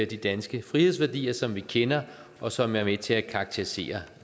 de danske frihedsværdier som vi kender og som er med til at karakterisere